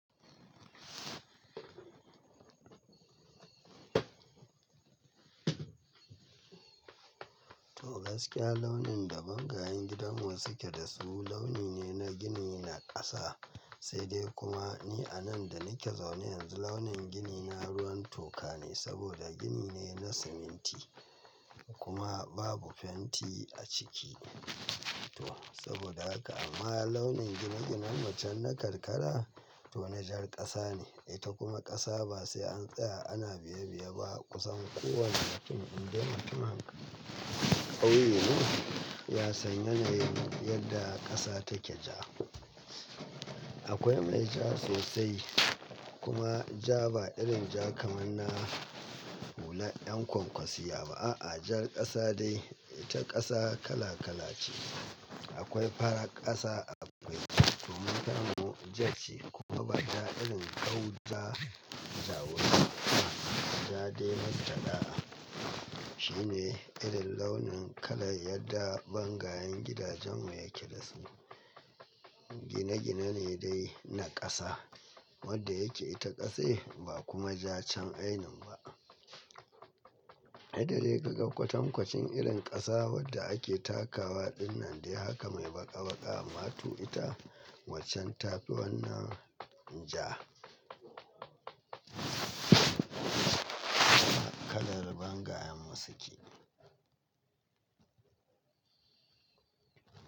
To gaskiya launin da bangayen gidanmu suke da su launi ne na gini na ƙasa, sai dai kuma ni a nan da nike zaune yanzu launin gini na ruwan toka ne saboda gini ne na siminti kuma babu fenti a ciki. To saboda haka amma launin gine-ginenmu can na karkara to na jar ƙasa ne, ita kuma ƙasa ba sai an tsaya ana biye-biye ba kusan kowane mutum in dai mutum kauye ne ya san yanayin yadda ƙasa take ja. Akwai mai ja sosai kuma ja ba irin ja kamar na hula 'yan kwankwasiyya ba a'a, jar ƙasa dai ita ƙasa kala-kala ce. Akwai farar ƙasa akwai kuma tamu jar ce kuma ba ja irin ƙau ja ja wuri ba, ja dai matanɗa. Shine irin launin kalar yadda bangayen gidajen mu yake da su. Gine-gine ne dai na ƙasa wadda yake ita ƙasai ba kuma ja can ainin ba. Yadda dai ka ga kwatankwacin irin ƙasa wadda ake takawa dinnan dai haka mai baƙa-baƙa matu ita waccen ta fi wannan ja. Kalar bangayen mu suke.